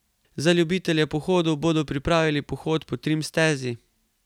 Za ljubitelje pohodov bodo pripravili pohod po trim stezi.